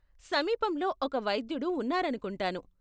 సమీపంలో ఒక వైద్యుడు ఉన్నారనుకుంటాను.